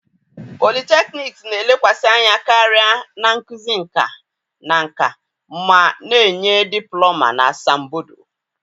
Polytechnics na-elekwasị anya karịa na nkuzi nka na nka ma na-enye diplọma na asambodo.